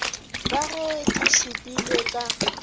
ka ge di šupilwe ka